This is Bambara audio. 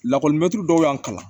Lakɔlimɛtiri dɔw y'an kalan